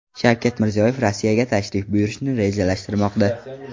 Shavkat Mirziyoyev Rossiyaga tashrif buyurishni rejalashtirmoqda.